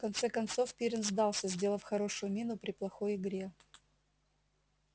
в конце концов пиренн сдался сделав хорошую мину при плохой игре